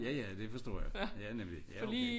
Ja ja det forstår jeg ja namlig ja okay